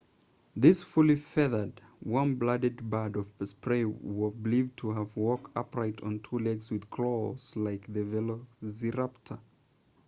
this fully feathered warm blooded bird of prey was believed to have walked upright on two legs with claws like the velociraptor